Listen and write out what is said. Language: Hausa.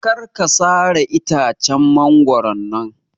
Kar ka sare itacen mangoron nan